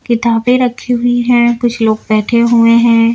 किताबें रखी हुई है कुछ लोग बैठे हुए हैं।